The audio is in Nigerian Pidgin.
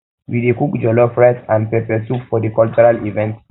we dey cook we dey cook jollof rice and pepper soup for di cultural event